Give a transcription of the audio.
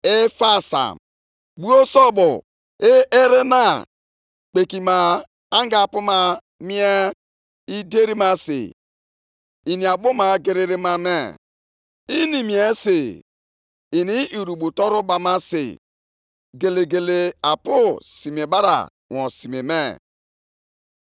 “Ahụhụ dịrị onye ahụ na-enye onye agbataobi ya mmanya, nke na-anọgide na-agbanyere ya mmanya tutu ruo mgbe mmanya bidoro igbu ya, ka o si otu a hụ ọtọ ya anya.